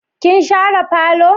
Kin share falo?